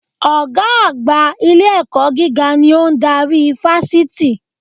Ògá àgbà ilé-ẹ̀kọ́ gíga ni ó n darí Fásití